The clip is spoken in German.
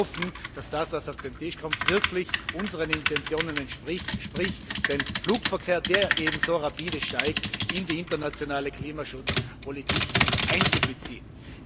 Wir alle hoffen, dass das, was auf den Tisch kommt, wirklich unseren Intentionen entspricht, sprich, den Flugverkehr, der so rapide anwächst, in die internationale Klimaschutzpolitik einzubeziehen.